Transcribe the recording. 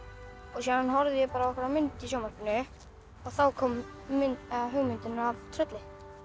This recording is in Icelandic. síðan horfði ég á einhverja mynd í sjónvarpinu þá kom hugmyndin að trölli